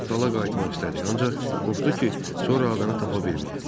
Dala qayıtmaq istədi, ancaq qorxdu ki, sonra adanı tapa bilməyə.